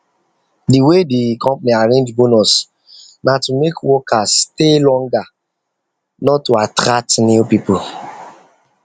the way the company arrange bonus na to make workers stay longer workers stay longer not to attract new people